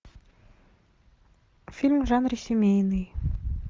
фильм в жанре семейный